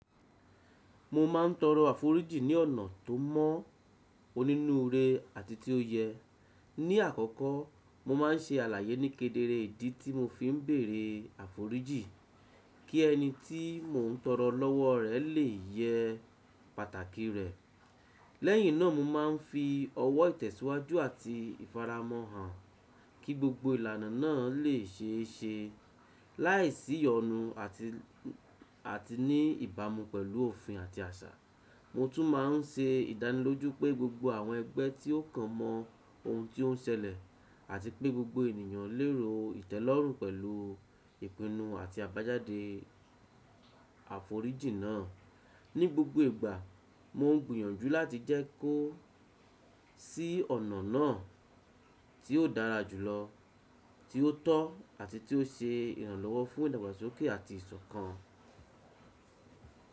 Mo ma ń tọrọ àforíjì ní ọ̀nà tó mo onínúure àti tí ó yẹ. Ní àkọ́kọ́, mo ma ń ṣe àlàyé nikedere ìdí tí mo fi ń bèrè àforíjì, kí ẹni tí mo ń tọrọ lọ́wọ́ rẹ̀ lè yẹ pàtàkì rẹ̀. Lẹhin náà, mo ma ń fi ọwọ́ ìtẹ̀síwájú àti ìfaramọ́ hàn, kí gbogbo ìlànà náà lè ṣeẹṣẹ, láìsí ìyọnu àti ní ìbámu pẹ̀lú òfin àti àṣà. Mo tún ma ń ṣe ìdánilójú pé gbogbo àwọn ẹgbẹ́ tí ó kàn mọ ohun tí ó ń ṣẹlẹ̀, àti pé gbogbo ènìyàn lero ìtẹ́lọ́rùn pẹ̀lú ìpinnu àti àbájáde àforíjì náà. Ní gbogbo ìgbà, mo ń gbìyànjú láti jẹ́ kí ó sì ọ̀nà náà tí ó dára jùlọ, tí ó tọ́ àti tí ó ṣe ìrànlọ́wọ́ fún ìdàgbàsókè àti ìsọ̀kan.